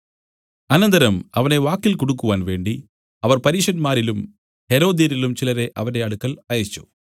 അനന്തരം അവനെ വാക്കിൽ കുടുക്കുവാൻ വേണ്ടി അവർ പരീശന്മാരിലും ഹെരോദ്യരിലും ചിലരെ അവന്റെ അടുക്കൽ അയച്ചു